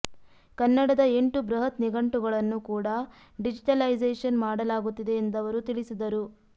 ಕನ್ನಡದ ಎಂಟು ಬೃಹತ್ ನಿಘಂಟುಗಳನ್ನು ಕೂಡಾ ಡಿಜಿಟಲೈಸೇಶನ್ ಮಾಡಲಾಗುತ್ತಿದೆ ಎಂದವರು ತಿಳಿಸಿದರು